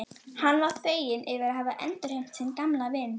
Hann var feginn yfir að hafa endurheimt sinn gamla vin.